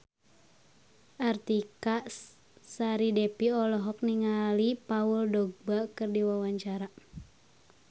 Artika Sari Devi olohok ningali Paul Dogba keur diwawancara